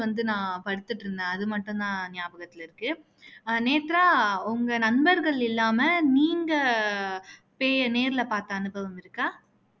வந்து நான் படுத்துட்டு இருந்தேன் அது மட்டும் தான் ஞாபகத்துல இருக்கு நேத்ரா உங்க நண்பர்கள் இல்லாம நீங்க பேய நேர்ல பார்த்த அனுபவம் இருக்கா